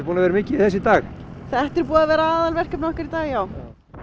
búin að vera mikið í þessu í dag þetta er búið að vera aðalverkefnið okkar í dag já